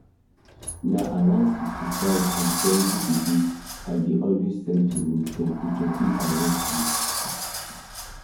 na around 65 and 70 degrees i dey always set the room temperature if i wan sleep